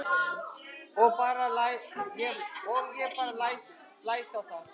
Og ég bara blæs á það.